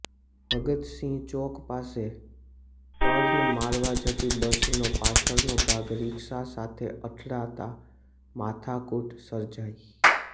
ભગતસિંહ ચોક પાસે ટર્ન મારવા જતી બસનો પાછળનો ભાગ રિક્ષા સાથે અથડાતા માથાકૂટ સર્જાઈ